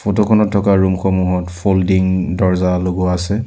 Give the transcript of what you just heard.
Photo খনত থকা room সমূহত ফল্ডিং দৰ্জা লগোৱা আছে।